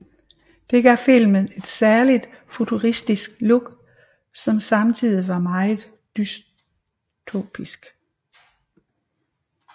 Dette gav filmen et særligt futuristisk look som samtidigt var meget dystopisk